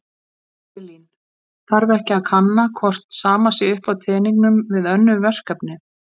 Elín: Þarf ekki að kanna hvort sama sé upp á teningnum við önnur verkefni?